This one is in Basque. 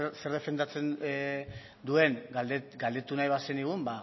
zer defendatzen duen galdetu nahi bazenigun